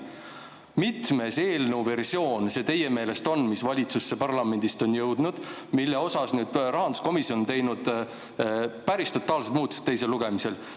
Mitmes eelnõu versioon see teie meelest on, mis valitsuselt parlamenti on jõudnud ja milles rahanduskomisjon on teinud teiseks lugemiseks päris totaalsed muudatused?